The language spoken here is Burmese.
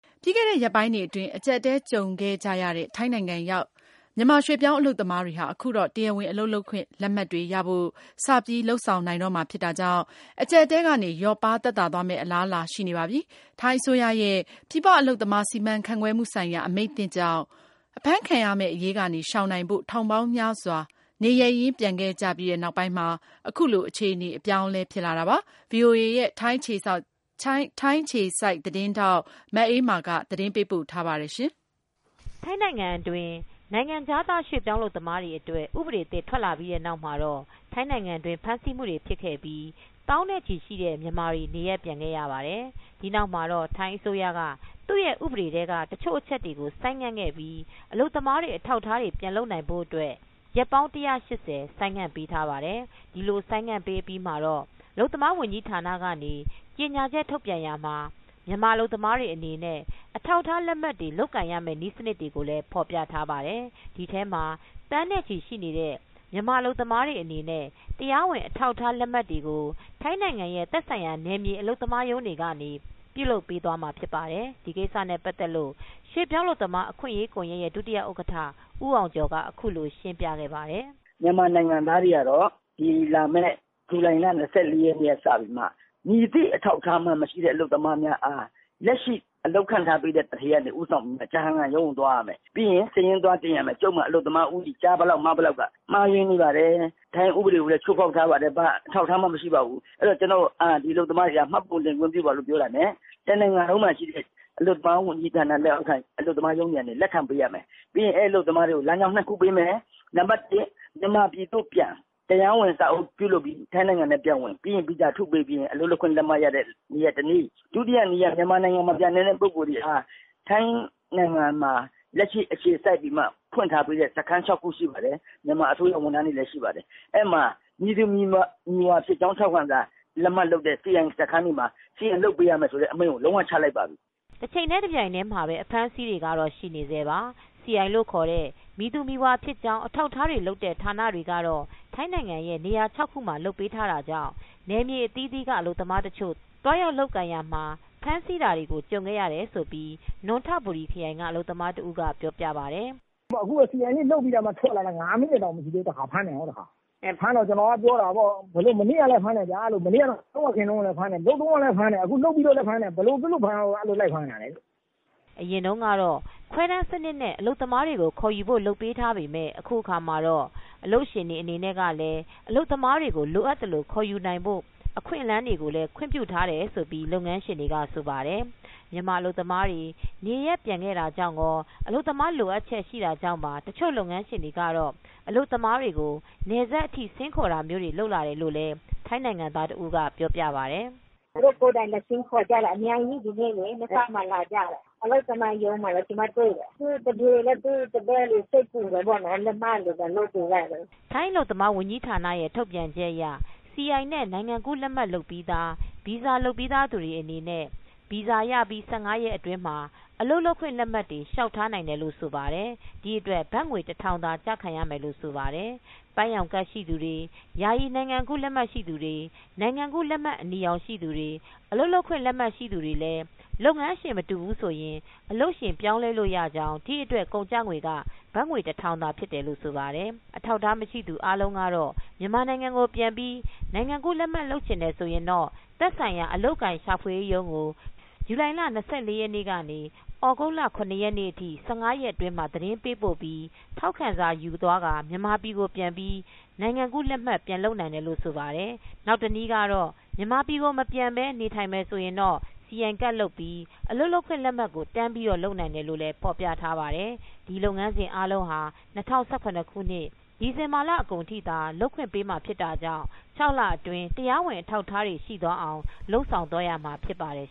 ပြီးခဲ့တဲ့ရက်ပိုင်းတွေအတွင်း အကျပ်အတည်းကြုံခဲ့ကြရတဲ့ ထိုင်းနိုင်ငံရောက် မြန်မာရွှေ့ပြောင်းအလုပ်သမားတွေ ဟာ အခုတော့ တရားဝင် အလုပ်လုပ်ခွင့် လက်မှတ်တွေရဖို့ စပြီး လုပ်ဆောင်နိုင်တော့မှာဖြစ်တာကြောင့် အကျပ်အတည်းကနေ လျော့ပါးသက်သာသွားမယ့်အလားအလာ ရှိနေပါပြီ။ ထိုင်းအစိုးရရဲ့ ပြည်ပအလုပ်သမား စီမံခန့်ခွဲမှုဆိုင်ရာ အမိန့်သစ်ကြောင့် အဖမ်းခံရမယ့်အရေးကနေရှောင်နိုင်ဖို့ ထောင်ပေါင်းများစွာ နေရပ်ရင်းပြန်ခဲ့ကြပြီးနောက်ပိုင်းမှာပဲ အခုလို အခြေအနေအပြောင်း အလဲဖြစ်လာတာပါ။ အပြည့်အစုံကို ဗွီအိုအေရဲ့ ထိုင်းအခြေစိုက်သတင်းထောက် မအေးမာက သတင်းပေးပို့ထားပါတယ်။ ထိုင်းနိုင်ငံအတွင်းနိုင်ငံခြားသားရွှေ့ပြောင်းအလုပ်သမားများအတွက် ဥပဒေအသစ် ထွက်လာပြီးတဲ့နောက်မှာတော့ ထိုင်းနိုင်ငံတွင်းဖမ်းဆီးမူတွေဖြစ်ခဲ့ပြီး သောင်းနဲ့ ချီရှိတဲ့မြန်မာတွေ နေရပ်ပြန်ခဲ့ကြပါတယ်။ ဒီနောက်မှာတော့ ထိုင်းအစိုးရက နေ သူရဲ ဥပဒေထဲက တချို့အချက်တွေကို ဆိုင်းငံ့ခဲ့ပြီး အလုပ်သမားတွေ အထောက်အထားတွေပြန်လုပ်နိုင်ဖို့အတွက် ရက်ပေါင်း ၁၈၀ ဆိုင်းငံ့ပေးထားပါတယ်။ ဒီလိုဆိုင်းငံ့အပြီးမှာတော့ အလုပ်သမားဝန်ကြီးဌာနကနေ ကြေညာချက် ထုတ်ပြန်ရာမှာ မြန်မာအလုပ်သမားတွေအနေနဲ့ အထောက်အထား လက်မှတ်တွေ လုပ်ကိုင်ရမယ့် နည်းစနစ်တွေကိုဖော်ပြထားပါတယ်။ ဒီထဲမှာ သန်းနဲ့ချီရှိတဲ့မြန်မာအလုပ်သမားတွေအနေနဲ့ တရားဝင် အထောက်အထား လက်မှတ်တွေကို ထိုင်းနိုင်ငံရဲ့ သက်ဆိုင်ရာနယ်မြေအလုပ်သမားရုံးတွေကနေ ပြုလုပ်ပေးသွားမှာဖြစ်ပါတယ်။ ဒီကိစ္စနဲ့ပတ်သက်လို့ ရွှေ့ပြောင်းအလုပ်သမား အခွင့်အရေးကွန်ယက်ရဲ့ ဒုဥက္ကဋ္ဌ ဦးအောင်ကျော်က အခုလို ရှင်းပြခဲ့ပါတယ်။ " မြန်မာနိုင်ငံသားတွေကတော့ လာမယ့်ဇူလိုင်လ ၂၄ရက်နေ့ကစပြီးမှ မည်သည့် အထောက်အထားမှ မရှိတဲ့အလုပ်သမားများအား လက်ရှိအလုပ်ခန့်ပေးထားတဲ့သူဌေးက ဦးဆောင်ပြီးမှ အလုပ်သမားရုံးကို သွားရမယ် ပြီးရင် စာရင်းသွားတင်ရမယ် အလုပ်သမားဦးရေ ကျားဘယ်လောက် မဘယ်လောက် မှားယွင်းနေပါတယ် ထိုင်းဥပဒေကိုလည်း ချိုးဖောက်ထားပါတယ် ဘာအထောက်အထားမှ မရှိပါဘူး အဲ့ဒီ့တော့ ကျနော့်ကို ဒီအလုပ်သမားတွေကို မှတ်ပုံတင်ခွင့်ပြုပါ ပြောတာနဲ့ တနိုင်ငံလုံးမှာ ရှိတဲ့ အလုပ်သမားဝန်ကြီးဌာန လက်အောက်က အလုပ်သမားရုံးတွေက လက်ခံပေးရမယ် ပြီးရင် အဲ့ဒီ့အလုပ်သမားတွေကို လမ်းကြောင်းနှစ်ခုပေးမယ် နံပတ်တစ် မြန်မာပြည်သို့ပြန် တရားဝင်စာအုပ်ပြုလုပ်ပြီး ထိုင်းနိုင်ငံထဲပြန်ဝင်၊ ပြီးရင် ဗီဇာထုတ်ပေးပြီးရင် အလုပ်လုပ်ခွင့်ရမယ့် လက်မှတ်ရမယ့်နည်းက တနည်း ဒုတိယနည်းကတော့ မြန်မာနိုင်ငံကို မပြန်နိုင်တဲ့ ပုဂ္ဂိုလ်တွေဟာ ထိုင်းနိုင်ငံမှာ လက်ရှိအခြေစိုက်ပြီးမှ ဖွင့်ထားတဲ့ စခန်းခြောက်ခုရှိပါတယ် မြန်မာအစိုးရဝန်ထမ်းတွေလည်း ရှိပါတယ် အဲ့ဒီ့မှာ မည်သူမည်ဝါဖြစ်ကြောင်း ထောက်ခံစာ လက်မှတ်လုပ်တဲ့ CI (certification of identification)စခန်းတွေမှာ လုပ်ပေးရမယ်ဆိုတဲ့အမိန့်ကို လုံးဝ ချလိုက်ပါပြီ။" တချိန်တည်းတပြိုင်တည်းမှာပဲအဖမ်းဆီးတွေကတော့ရှိနေဆဲပါ (certification of identification) CI စီအိုင်လို့ခေါ်တဲ့ မည်သူမည်ဝါဖြစ်ကြောင်း အထောက်အထားတွေ လုပ်တဲ့ဌာနတွေကတော့ ထိုင်းနိုင်ငံရဲ့ နေရာ ၆ခုမှာလုပ်ပေးနေတာကြောင့် နယ်မြေအသီးသီးက အလုပ်သမားတချို့ သွားရောက် လုပ်ကိုင်ရာမှာ လမ်းမှာအဖမ်းဆီးတွေကြုံခဲ့ရတယ်လို့လည်း နွံထဘူရီခရိုင်က အလုပ်သမားတဦးကပြောပြပါတယ်။ " အခုပဲ CI လုပ်ပြီးထွက်လာတာမှ ငါးမိနစ်တောင်မရှိသေးဘူး ဖမ်းတယ် ဖမ်းတော့ ကျနော်က ပြောတာပေါ့ မနေ့ကလည်းဖမ်းတယ်ဗျာ မလုပ်တော့လည်း ဖမ်းတယ် လုပ်တော့လည်း ဖမ်းတယ် ဘယ်လိုဖြစ်လို့ အဲ့လိုလိုက်ဖမ်းနေတာလဲလို့။" အရင်ကတော့ခွဲတမ်းစံနစ်နဲ့ အလုပ်သမားခေါ်ယူဖို့ လုပ်ပေးထားပေမဲ့အခုအခါမှာတော့ အလုပ်ရှင်တွေအနေနဲ့ လည်း အလုပ်သမားတွေကို လိုအပ်သလိုခေါ်ယူနိုင်ဖို့ အခွင့်အလမ်းတွေကိုလည်းခွင့်ပြုထားတယ်လို့လုပ်ငန်းရှင်တွေက ဆိုပါတယ်။ မြန်မာအလုပ်သမားတွေနေရပ်ပြန်ခဲ့တာကြောင့်ကော အလုပ်သမား လိုအပ်ချက် ရှိတာကြောင့်ပါ တချို့ အလုပ်ရှင်တွေကတော့ အလုပ်သမားတွေကို နယ်စပ်အထိ ဆင်းခေါ်တာမျိုးတွေလုပ်လာတယ်လို့လည်း ထိုင်းနိုင်ငံသား တဦးကပြောပြပါတယ်။ " သူတို့ကိုယ်တိုင် လာဆင်းခေါ်ကြတယ် အများကြီး မဲဆောက်မှာ လာကြတယ်။ အလုပ်သမားရုံးမှာလည်း ကျမတွေ့တယ်။ စိတ်ပူလို့ လက်မှတ်တွေ လာလုပ်ပေးကြတယ်။" ထိုင်အလုပ်သမားဝန်ကြီးဌာနရဲ့ထုတ်ပြန်ချက်အရ စီအိုင် နဲ့ နိုင်ငံကူးလက်မှတ်လုပ်ပြီးသား ဗီဇာလုပ်ပြီးသားသူတွေအနေနဲ့ ဗီဇာရပြီး ၁၅ရက်အတွင်းမှာ အလုပ်လုပ်ခွင့် လက်မှတ်တွေလျောက် ထားနိုင်တယ်လို့ ဆိုပါတယ်။ ဒီအတွက် ဘတ်ငွေတထောင်သာ ကျခံရမယ်ဆိုပါတယ်။ ပန်းရောင်ကဒ်ရှိသူတွေ ယာယီနိုင်ငံကူးလက်မှတ် နိုင်ငံကူးလက်မှတ်အနီရောင် အလုပ်လုပ်ခွင့်လက်မှတ်ရှိသူတွေလည်း လုပ်ငန်းရှင်မတူဘူးဆိုရင် အလုပ်ရှင်ပြောင်းလဲ လို့ရကြောင်း ဒီအတွက်ကုန်ကျငွေက ဘတ်ငွေတထောင်ဖြစ်တယ်လို့ ဆိုပါတယ်။ အထောက်အထားမရှိသူတွေအားလုံးကတော့ မြန်မာနိုင်ငံကိုပြန်ပြီးနိုင်ငံကူးလက်မှတ် လုပ်ချင်တယ်ဆိုရင် သက်ဆိုင်ရာအလုပ်အကိုင်ရှာဖွေရေးရုံးကို ဇူလိုင်လ ၂၄ရက်နေ့က သြဂုတ်လ ရ ရက်နေ့အထိ ၁၅အတွင်း မှာသတင်းပေးပို့ပြီး ထောက်ခံစာယူသွားပြီး မြန်မာပြည်ကိုပြန်ပြီး နိုင်ငံကူးလက်မှတ်ပြန်လုပ်နိုင်တယ်လို့ဆိုပါတယ်။ နောက်တနည်း ကတော့ မြန်မာပြည်မပြန်ပဲ နေထိုင်မယ်ဆိုရင်တော့ စီအိုင်ကဒ်လုပ်ပြီး အလုပ်လုပ်ခွင့်လက်မှတ်ကိုတန်းပြီး လုပ်နိုင်တယ်လို့ဖော်ပြထားပါတယ်။ ဒီလုပ်ငန်းစဉ်တွေအားလုံးဟာ ၂၀၁၇ ခုနှစ် ဒီဇင်ဘာလအကုန်ထိသာ လုပ်ခွင့်ပေးမှာဖြစ် တာကြောင့် ၆လအတွင်းမှာ တရားဝင် အထောက်အထားတွေရှိ သွားအောင်လုပ်ဆောင်သွားရမှာဖြစ်ပါတယ်